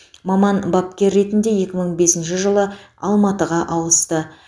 маман бапкер ретінде екі мың бесінші жылы алматыға ауысты